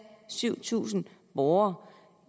syv tusind borgere